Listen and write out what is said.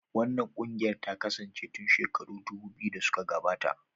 Wannan ƙungiyar ta kasance tun shekaru dubu biyu da suka gabata.